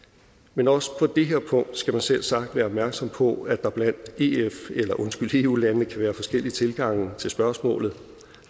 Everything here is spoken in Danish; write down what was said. men også på det her punkt skal man selvsagt være opmærksom på at der blandt eu landene kan være forskellige tilgange til spørgsmålet